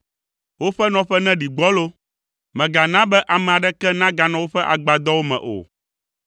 Woƒe nɔƒe neɖi gbɔlo; mègana be ame aɖeke neganɔ woƒe agbadɔwo me o.